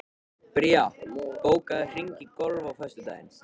Bría, bókaðu hring í golf á föstudaginn.